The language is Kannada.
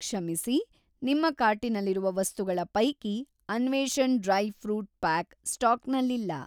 ಕ್ಷಮಿಸಿ, ನಿಮ್ಮ ಕಾರ್ಟಿನಲ್ಲಿರುವ ವಸ್ತುಗಳ ಪೈಕಿ ಅನ್ವೇಷಣ್ ಡ್ರೈ ಫ಼್ರೂಟ್‌ ಪಾಕ್ ಸ್ಟಾಕ್‌ನಲ್ಲಿಲ್ಲ.